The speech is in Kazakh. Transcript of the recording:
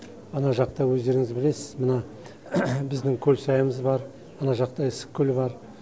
ана жақта өздеріңіз білесіз мына біздің көлсайымыз бар ана жақта ыстықкөл бар